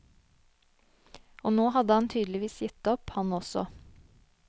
Og nå hadde han tydeligvis gitt opp han også.